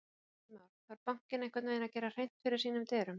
Heimir Már: Þarf bankinn einhvern veginn að gera hreint fyrir sínum dyrum?